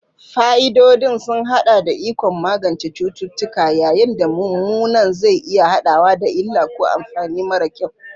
Fa'idodin sun haɗa da ikon magance cututtuka, yayin da mummunan zai iya haɗawa da illa ko amfani mara kyau.